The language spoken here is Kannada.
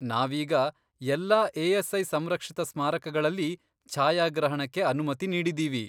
ನಾವೀಗ ಎಲ್ಲಾ ಎ.ಎಸ್.ಐ. ಸಂರಕ್ಷಿತ ಸ್ಮಾರಕಗಳಲ್ಲಿ ಛಾಯಾಗ್ರಹಣಕ್ಕೆ ಅನುಮತಿ ನೀಡಿದ್ದೀವಿ.